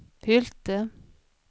Hylte